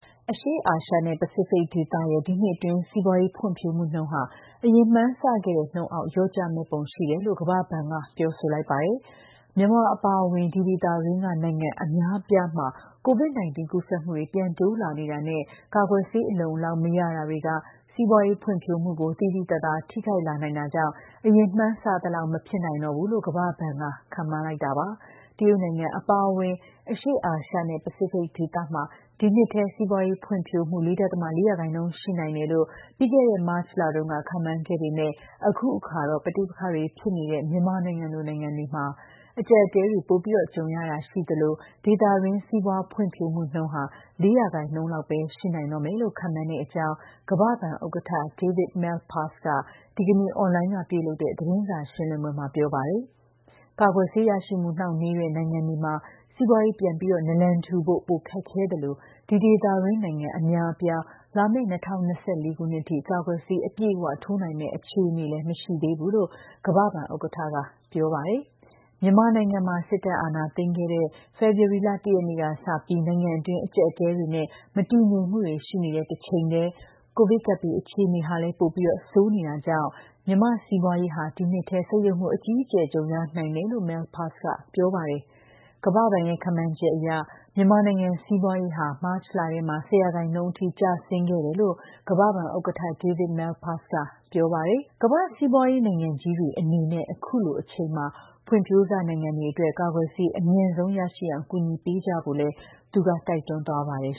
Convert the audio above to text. အရှေ့အာရှနဲ့ ပစိဖိတ်ဒေသရဲ့ ဒီနှစ်အတွင်း စီးပွားရေးဖွံ့ဖြိုးမှုနှုန်းဟာ အရင်ကမှန်းဆခဲ့တဲ့နှုန်းအောက် လျော့ကျမယ့်ပုံ ရှိနေတယ်လို့ ကမ္ဘ္ဘာ့ဘဏ်က ပြောဆိုလိုက်ပါတယ်။ မြန်မာအပါအဝင် ဒီဒေသတွင်းက နိုင်ငံအများအပြားမှာ COVID-19 ကူးစက်မှုတွေ ပြန်တိုးလာနေတာနဲ့ ကာကွယ်ဆေး အလုံအလောက် မရတာတွေက စီးပွားရေးဖွံ့ဖြိုးမှုကို သိသိသာသာ ထိခိုက်လာနိုင်တာကြောင့် အရင်မှန်းဆသလောက် မဖြစ်နိုင်တော့ဘူးလို့ ကမ္ဘာ့ဘဏ်က ခန့်မှန်းလိုက်တာပါ။ တရုတ်နိုင်ငံအပါအဝင် အရှေ့အာရှနဲ့ ပစိဖိတ်ဒေသမှာ ဒီနှစ်ထဲ စီးပွားရေးဖွံ့ဖြိုးမှု ၄.၄% ရှိနိုင်တယ်လို့ ပြီးခဲ့တဲ့ မတ်လက ခန့်မှန်းခဲ့ပေမဲ့လည်း အခုအခါမှာတော့ ပဋိပက္ခတွေဖြစ်နေတဲ့ မြန်မာလို နိုင်ငံတွေမှာ အကျပ်အတည်းတွေ ပိုပြီး ကြုံနေရတာ ရှိသလို ဒေသတွင်း စီးပွားရေးဖွံ့ဖြိုးမှုနှုန်းဟာ ၄% လောက်ပဲ ရှိနိုင်တော့လိမ့်မယ်လို့ ခန့်မှန်းရတဲ့အကြောင်း ကမ္ဘာ့ဘဏ်ဥက္ကဋ္ဌ David Malpass က ဒီနေ့ အွန်လိုင်းမှာလုပ်တဲ့ သတင်းစာရှင်းလင်းပွဲမှာ ပြောဆိုပါတယ်။ ကာကွယ်ဆေးရရှိမှု နှောင့်နှေးတဲ့နိုင်ငံတွေမှာ စီးပွားရေးပြန်နာလန်ထူဖို့ ပိုခက်ခဲသလို ဒီဒေသတွင်းက နိုင်ငံ အများအပြားမှာ လာမယ့် ၂၀၂၄ ခုနှစ်အထိ ကာကွယ်ဆေး အပြည့်အ၀ ထိုးနိုင်မယ့်အခြေအနေလည်း မရှိသေးဘူးလို့ ကမ္ဘာ့ဘဏ်ဥက္ကဋ္ဌက ပြောပါတယ်။ မြန်မာနိုင်ငံမှာ စစ်တပ်အာဏာသိမ်းခဲ့တဲ့ ဖေဖော်ဝါရီလ ၁ ရက်နေ့ကစလို့ နိုင်ငံတွင်း အကျပ်အတည်းတွေနဲ့ မတည်ငြိမ်မှုတွေ ရှိနေတဲ့တချိန်တည်းမှာ ကိုဗစ်ကပ်ဘေးအခြေအနေ ပိုပြီး ဆိုးလာနေတာကြာင့်လည်း မြန်မာ့စီးပွားရေးဟာ ဒီနှစ်ထဲ ဆုတ်ယုတ်မှု အကြီးအကျယ် ကြုံရနိုင်တယ်လို့ Malpass က ပြောပါတယ်။ ကမ္ဘာ့ဘဏ်ရဲ့ ခန့်မှန်းချက်အရ မြန်မာနိုင်ငံရဲ့ စီးပွားရေးဟာ မတ်လထဲမှာ ၁၀% အထိ ကျဆင်းခဲ့တယ်လို့လည်း ကမ္ဘာ့ဘဏ်ဥက္ကဋ္ဌ David Malpass က ပြောပါတယ်။ ကမ္ဘာ့စီးပွားရေး နိုင်ငံကြီးတွေအနေနဲ့ အခုလိုအချိန်မှာ ဖွံ့ဖြိုးစနိုင်ငံတွေအတွက် ကာကွယ်ဆေး အမြန်ဆုံးရရှိအောင် ကူညီပံ့ပိုးကြဖို့လည်း သူက တိုက်တွန်းသွားပါတယ်